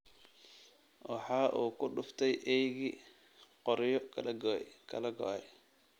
Waxa uu ku dhuftay eeygii qoryo kala go’ay